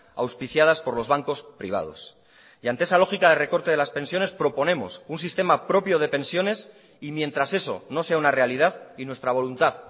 auspiciadas por los bancos privados y ante esa lógica de recorte de las pensiones proponemos un sistema propio de pensiones y mientras eso no sea una realidad y nuestra voluntad